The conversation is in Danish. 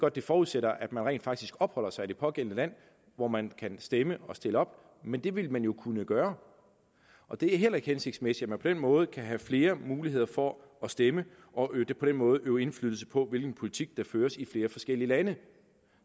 at det forudsætter at man rent faktisk opholder sig i det pågældende land hvor man kan stemme og stille op men det ville man jo kunne gøre og det er heller ikke hensigtsmæssigt at man på den måde kan have flere muligheder for at stemme og på den måde øve indflydelse på hvilken politik der føres i flere forskellige lande